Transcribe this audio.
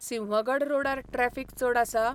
सिंहगड रोडार ट्रॅफिक चड आसा?